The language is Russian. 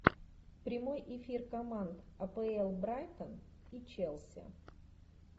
прямой эфир команд апл брайтон и челси